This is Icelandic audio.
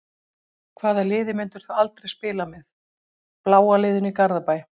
Hvaða liði myndir þú aldrei spila með: bláa liðinu í Garðabæ.